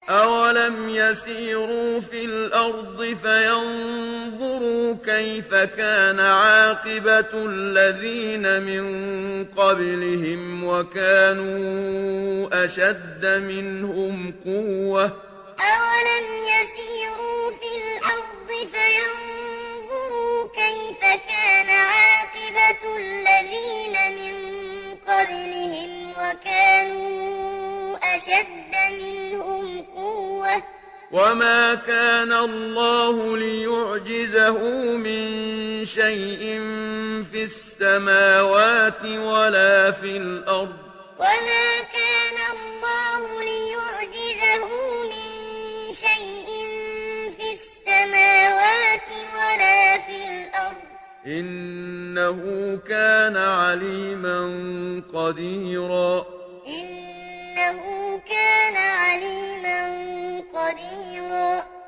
أَوَلَمْ يَسِيرُوا فِي الْأَرْضِ فَيَنظُرُوا كَيْفَ كَانَ عَاقِبَةُ الَّذِينَ مِن قَبْلِهِمْ وَكَانُوا أَشَدَّ مِنْهُمْ قُوَّةً ۚ وَمَا كَانَ اللَّهُ لِيُعْجِزَهُ مِن شَيْءٍ فِي السَّمَاوَاتِ وَلَا فِي الْأَرْضِ ۚ إِنَّهُ كَانَ عَلِيمًا قَدِيرًا أَوَلَمْ يَسِيرُوا فِي الْأَرْضِ فَيَنظُرُوا كَيْفَ كَانَ عَاقِبَةُ الَّذِينَ مِن قَبْلِهِمْ وَكَانُوا أَشَدَّ مِنْهُمْ قُوَّةً ۚ وَمَا كَانَ اللَّهُ لِيُعْجِزَهُ مِن شَيْءٍ فِي السَّمَاوَاتِ وَلَا فِي الْأَرْضِ ۚ إِنَّهُ كَانَ عَلِيمًا قَدِيرًا